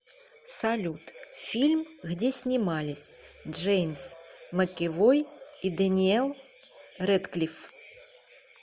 салют фильм где снимались джеймс макэвой и дэниэл рэдклифф